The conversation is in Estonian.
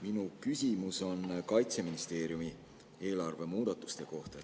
Minu küsimus on Kaitseministeeriumi eelarve muudatuste kohta.